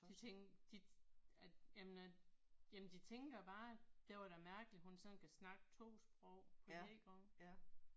De tænker de at jamen at jamen de tænker bare det var da mærkeligt hun sådan kan snakke 2 sprog på én gang